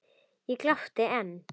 Ég glápi enn.